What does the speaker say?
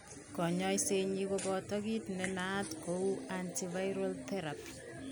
Kanyoiset nyi koboto kiit nenaat kou antiviral therapy